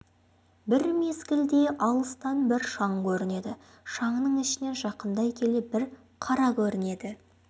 бір мезгілде алыстан бір шаң көрінеді шаңның ішінен жақындай келе бір қара көрінеді